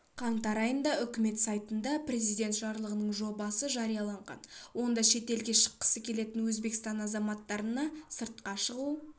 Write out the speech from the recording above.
қаңтар айында үкімет сайтында президент жарлығының жобасы жарияланған онда шетелге шыққысы келетін өзбекстан азаматтарына сыртқа шығу